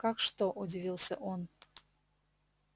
как что удивился он